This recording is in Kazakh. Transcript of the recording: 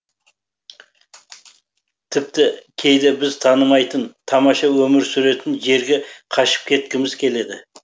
тіпті кейде бізді танымайтын тамаша өмір сүретін жерге қашып кеткіміз келеді